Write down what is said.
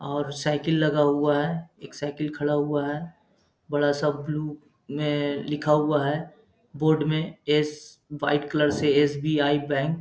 और साइकिल लगा हुआ है एक साइकिल खड़ा हुआ है। बड़ा-सा ब्लू में लिखा हुआ है बोर्ड में एस वाइट कलर से एस.बी.आई. बैंक ।